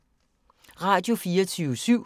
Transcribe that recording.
Radio24syv